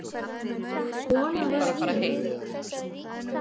Kona var í